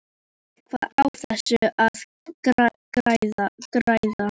Var eitthvað á þessu að græða?